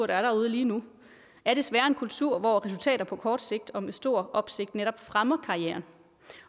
der er derude lige nu er desværre en kultur hvor resultater på kort sigt og med stor opsigt netop fremmer karrieren